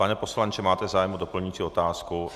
Pane poslanče, máte zájem o doplňující otázku?